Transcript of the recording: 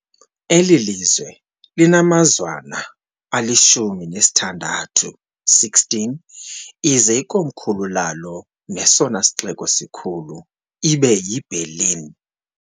eli "lizwe" linamazwana ali-16 ize ikomkhulu lalo nesona sixeko sikhulu ibe yi-Berlin.